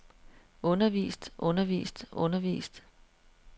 undervist undervist undervist